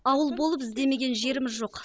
ауыл болып іздемеген жеріміз жоқ